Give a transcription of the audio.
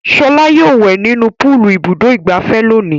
Ṣọlá yóò wẹ̀ nínú púúlù Ibùdó-ìgbafẹ́ lónìí.